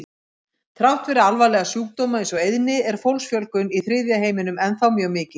Þrátt fyrir alvarlega sjúkdóma eins og eyðni er fólksfjölgun í þriðja heiminum ennþá mjög mikil.